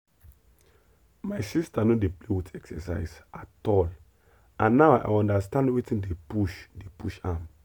my sister no dey play with exercise at all and now i understand wetin dey push dey push am.